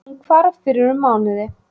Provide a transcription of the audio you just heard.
Hún hvarf fyrir um mánuði